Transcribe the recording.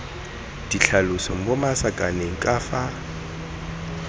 ditlhaloso mo masakaneng ka fa